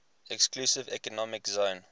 exclusive economic zone